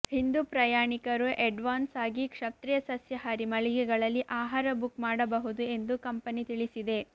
ಹಿಂದು ಪ್ರಯಾಣಿಕರು ಎಂಡ್ವಾನ್ಸ್ ಆಗಿ ಕ್ಷತ್ರಿಯ ಸಸ್ಯಹಾರಿ ಮಳಿಗೆಗಳಲ್ಲಿ ಆಹಾರ ಬುಕ್ ಮಾಡಬಹುದು ಎಂದು ಕಂಪನಿ ತಿಳಿಸಿದೆ